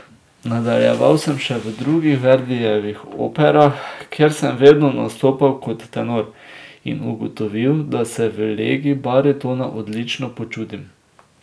Nadaljeval sem še v drugih Verdijevih operah, kjer sem vedno nastopal kot tenor, in ugotovil, da se v legi baritona odlično počutim.